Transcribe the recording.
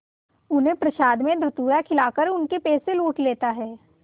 उन्हें प्रसाद में धतूरा खिलाकर उनके पैसे लूट लेता है